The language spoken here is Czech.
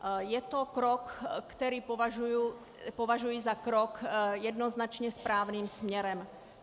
Je to krok, který považuji za krok jednoznačně správným směrem.